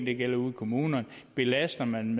det gælder ude i kommunerne belaster man